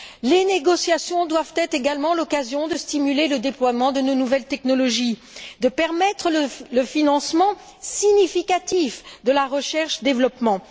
Les négociations doivent être également l'occasion de stimuler le déploiement de nos nouvelles technologies, de permettre le financement significatif de la recherche et développement.